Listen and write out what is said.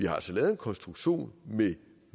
har altså lavet en konstruktion med